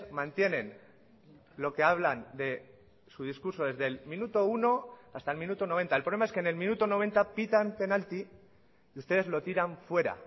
mantienen lo que hablan de su discurso desde el minuto uno hasta el minuto noventa el problema es que en el minuto noventa pitan penalti y ustedes lo tiran fuera